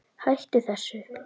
HÆTTU ÞESSU!